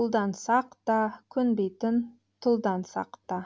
бұлдансақ та көнбейтін тұлдансақ та